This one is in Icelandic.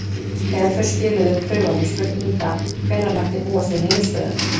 Þegar þau skiluðu prufunum spurði Inga hvenær mætti búast við niðurstöðum.